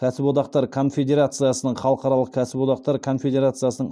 кәсіподақтар конфедерациясының халықаралық кәсіподақтар конфедерациясын